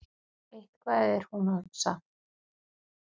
Eitthvað er hún að hugsa.